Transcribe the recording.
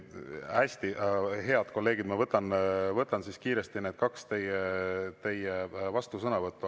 Hästi, head kolleegid, ma võtan kiiresti need kaks vastusõnavõttu.